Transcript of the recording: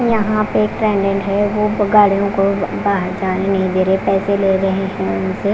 यहां पे एक है वो गाड़ियों को बाहर जाने नहीं दे रहे पैसे ले रहे हैं उनसे--